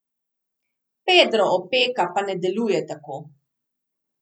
Pedro Opeka pa ne deluje tako.